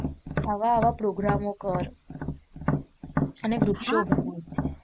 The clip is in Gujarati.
આવા આવા પ્રોગ્રામો કર અને